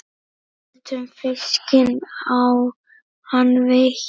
Getum fiskinn á hann veitt.